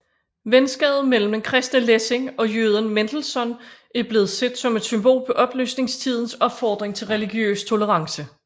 Venskabet mellem den kristne Lessing og jøden Mendelssohn er blevet set som et symbol på oplysningstidens opfordring til religiøs tolerance